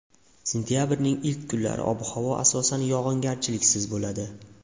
Sentabrning ilk kunlari ob-havo asosan yog‘ingarchiliksiz bo‘ladi.